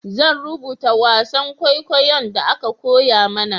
Zan rubuta wasan kwaikwayon da aka koya mana